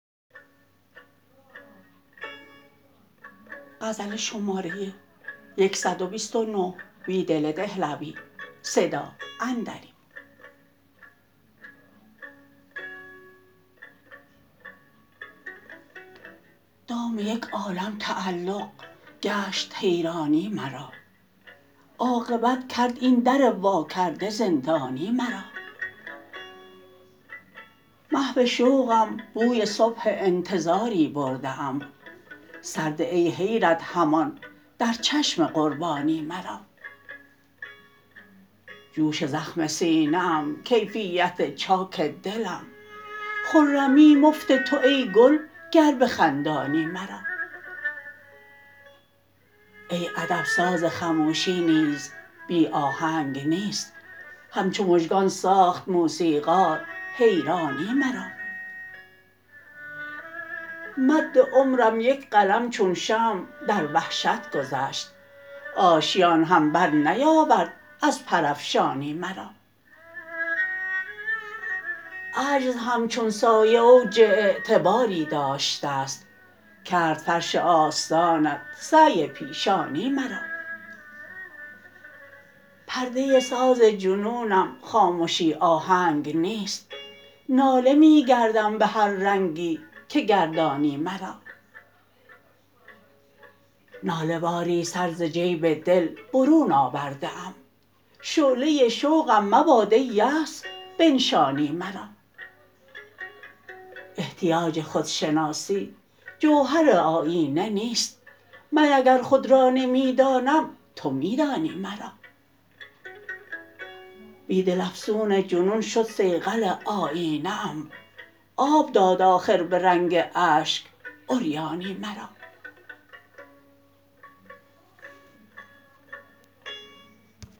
دام یک عالم تعلق گشت حیرانی مرا عاقبت کرد این در واکرده زندانی مرا محو شوقم بوی صبح انتظاری برده ام سرده ای حیرت همان در چشم قربانی مرا جوش زخم سینه ام کیفیت چاک دلم خرمی مفت تو ای گل گر بخندانی مرا ای ادب سازخموشی نیز بی آهنگ نیست همچو مژگان ساخت موسیقار حیرانی مرا مد عمرم یک قلم چون شمع در وحشت گذشت آشیان هم برنیاورد از پرافشانی مرا عجز هم چون سایه اوج اعتباری داشته ست کرد فرش آستانت سعی پیشانی مرا پرده ساز جنونم خامشی آهنگ نیست ناله می گردم به هر رنگی که گردانی مرا ناله واری سر ز جیب دل برون آورده ام شعله شوقم مباد ای یأس بنشانی مرا احتیاج خودشناسی جوهر آیینه نیست من اگر خود را نمی دانم تو می دانی مرا بیدل افسون جنون شد صیقل آیینه ام آب داد آخر به رنگ اشک عریانی مرا